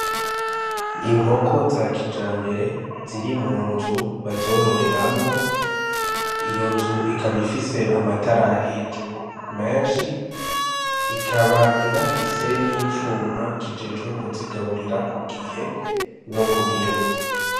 Inkoko za kijambere ziri mu nzu bazororeramwo, iyo nzu ikaba ifise amatara hejuru menshi, ikaba inafise n'icuma kijejwe kuzigaburira ku gihe no ku biro.